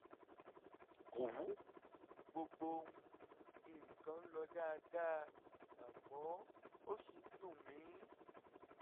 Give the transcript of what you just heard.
kò wú; gbogbo um nǹkan ń lọ dáadáa àmọ́ ó ṣì ń dùn mí